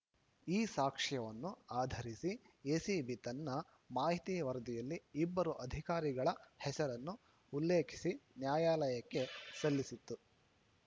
ಈ ಸಾಕ್ಷ್ಯವನ್ನು ಆಧರಿಸಿ ಎಸಿಬಿ ತನ್ನ ಮಾಹಿತಿ ವರದಿಯಲ್ಲಿ ಇಬ್ಬರು ಅಧಿಕಾರಿಗಳ ಹೆಸರನ್ನು ಉಲ್ಲೇಖಿಸಿ ನ್ಯಾಯಾಲಯಕ್ಕೆ ಸಲ್ಲಿಸಿತ್ತು